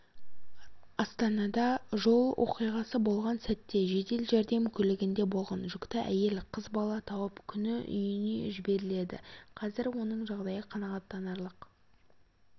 астанада жол оқиғасы болған сәтте жедел жәрдем көлігінде болған жүкті әйел қыз бала тауып күні үйіне жіберіледі қазір оның жағдайы қанағаттанарлық